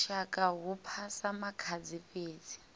lushaka hu phasa makhadzi fhedzi